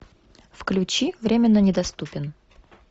включи временно недоступен